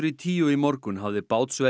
tíu í morgun hafði